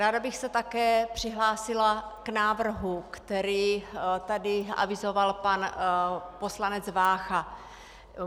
Ráda bych se také přihlásila k návrhu, který tady avizoval pan poslanec Vácha.